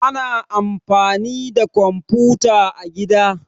Ana amfani da komfuta a gida